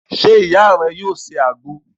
Se iya re yoo se agbo?